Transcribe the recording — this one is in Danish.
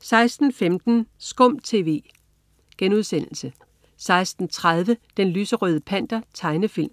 16.15 SKUM TV* 16.30 Den lyserøde Panter. Tegnefilm